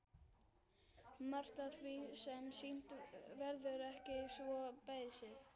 Margt af því sem sýnt verður er ekki svo beysið.